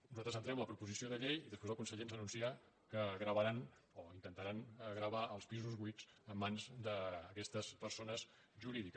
nosaltres entrem la proposició de llei i després el conseller ens anuncia que gravaran o intentaran gravar els pisos buits en mans d’aquestes persones jurídiques